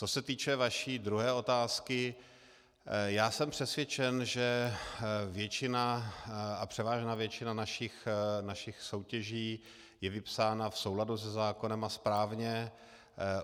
Co se týče vaší druhé otázky, já jsem přesvědčen, že převážná většina našich soutěží je vypsána v souladu se zákonem a správně.